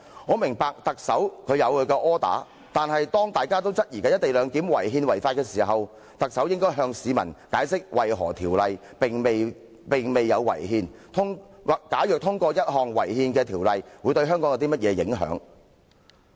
我明白特首有其"柯打"，但當大家都質疑"一地兩檢"違憲違法時，特首應該向市民解釋為何《條例草案》未有違憲，以及通過一項違憲的法案對香港有何影響。